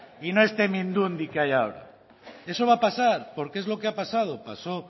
y no este mindundi que hay ahora eso va a pasar porque es lo he pasado pasó